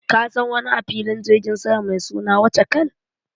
Ka san wani a filin jirgin sama mai suna Wachakal?